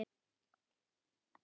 Að hamast svona.